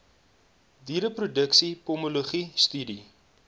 diereproduksie pomologie studie